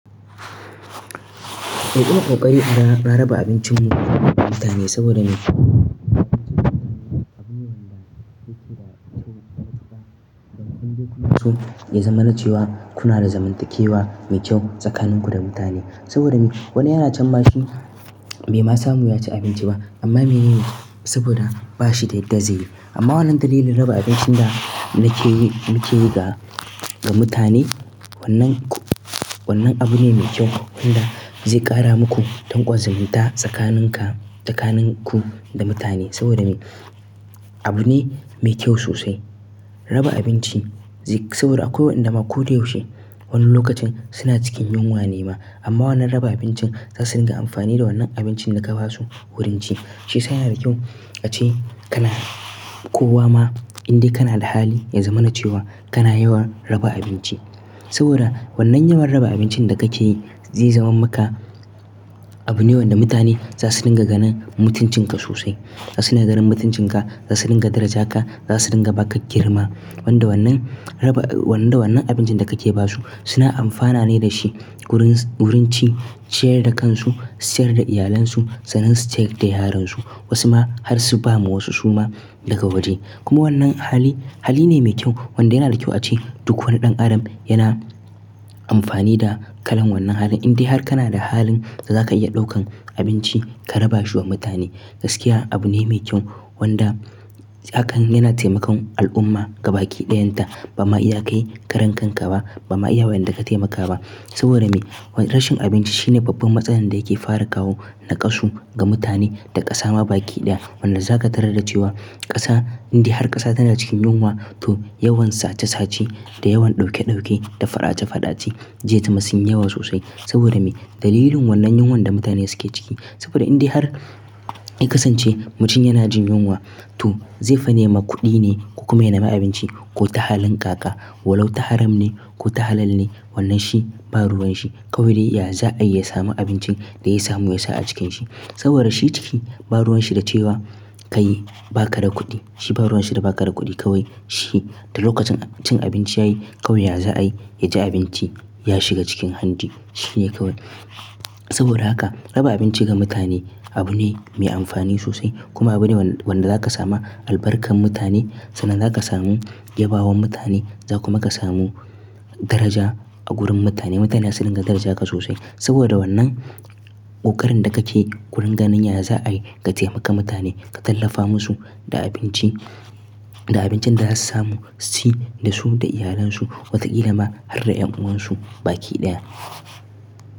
Eh ƙoƙari a raba abincin mu ga mutane saboda me abinci shine abune wanda yake da kyau. Dan ku je ku masu zamarancewa kuna da zamantakewa mai kyau tsakanin ku da mutane. Saboda wani ya na can baki bai ma samu cin abinci ba sobada ba shi da ama wannan dalili fa raba abinci da yake yin da mutane, wannan abu ne mai kyau me wanda zai kara mu ku dankon zumunta sakanin ka sakanin ku da mutane, saboda abu ne mai kyau sosai, raba abinci. Saboda akwai waɗanda ma ko da yaushe wani lokacin suna cikin yunwa ne ma amma wannan raba abincin za su ringa amfani da wannan abincin da ka ba su wurin ci shi yana da kyau. Ace kana kowa ma in dai kana da hali ya zamanace wa kana yawan raba abinci. Saboda wannan yawan raba abincin da kake yi zai zama maka abu ne wanda mutane za su ringa ganin mutuncin ka sosai. Za su dinga ganin mutuncin ka, za su dinga daraja ka, za su dinga ba ka girma. Wanda wannan raba wannan da wannan abincin da kake ba su suna amfana ne da shi wurin wurin ci, ciyar da kansu, ciyar da iyalansu sannan su ciyar da yaransu. Wasu ma har su ba wa wasu su ma daga wajen. Kuma wannan hali hali ne mai kyau wanda yana da kyau ace duk wani ɗan adam yana amfani da kalan wannan halin. In dai har kana da halin za ka iya ɗaukan abinci ka raba shi wa mutane gaskiya abu ne mai kyau wanda hakan yana taimakon al'umma gaba ki ɗayan ta. Ba ma iya kai karen kan ka ba ba ma iya wayen da ka taimaka ba. Saboda me rashin abinci shine babban matsalar da yake fara kawo naƙasu ga mutane da ƙasa ma baki ɗaya. Wanda za ka tarar da cewa ƙasa in dai har ƙasa tana cikin yunwa to yawan sace sace da yawan ɗauke ɗauke da fara'a fara'a ce zai tamsi yawa sosai. Saboda me dalilin wannan yunwan da mutane suke ciki. Saboda in dai har ka kasance mutum yana jin yunwa to zai fani ma kuɗi ne ko kuma yana ma abinci ko ta halin kaka ko walo ta haram ne ko ta halal ne wannan shi ba ruwan shi kawai ya za a iya samu abincin da ya samu ya sa a cikin shi. Saboda shi ciki ba ruwan shi da cewa kai ba ka da kuɗi. Shi ba ruwan shi da ba ka da kuɗi kawai shi da lokacin cin abinci ya yi kawai ya za a yi ya cu abinci ya shiga cikin hanji shi ne kawai. Saboda haka raba abinci ga mutane abu ne mai amfani sosai kuma abu ne wanda za ka samu albarkar mutane sannan za ka samu yabawan mutane za kuma ka samu daraja a wurin mutane. Mutane za su ringa daraja ka sosai saboda wannan ƙoƙarin da kake kulun ganin ya za a yi ka taimaka mutane ka tallafa musu da abinci da abincin da za su samu su ci da su da iyalansu wata ƙila ma har da ƴan'uwan su baki ɗaya.